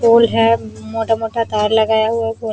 और यहाँ मोटा-मोटा तार लगा हुआ भी है।